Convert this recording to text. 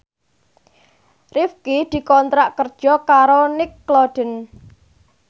Rifqi dikontrak kerja karo Nickelodeon